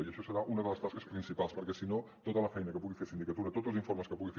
i això serà una de les tasques principals perquè si no tota la feina que pugui fer sindicatura tots els informes que pugui fer